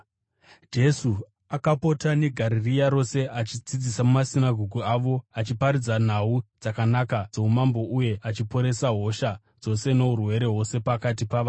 Jesu akapota neGarirea rose achidzidzisa mumasinagoge avo, achiparidza nhau dzakanaka dzoumambo uye achiporesa hosha dzose nourwere hwose pakati pavanhu.